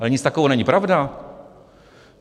Ale nic takového není pravda.